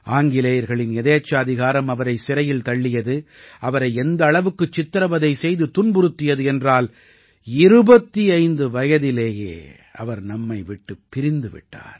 ஆங்கிலேயர்களின் யதேச்சாதிகாரம் அவரை சிறையில் தள்ளியது அவரை எந்த அளவுக்குச் சித்திரவதை செய்து துன்புறுத்தியது என்றால் 25 வயதிலேயே அவர் நம்மை விட்டுப் பிரிந்து விட்டார்